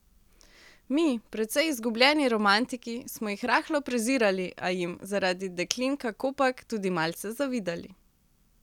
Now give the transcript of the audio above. Mi, precej izgubljeni romantiki, smo jih rahlo prezirali, a jim, zaradi deklin kakopak, tudi malce zavidali.